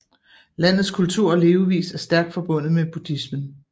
Landets kultur og levevis er stærk forbundet med buddhismen